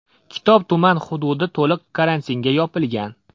Kitob tuman hududi to‘liq karantinga yopilgan.